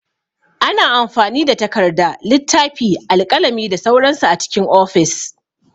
Ana amfani da takarda, littafi, alƙalami da sauran su a cikin ofis.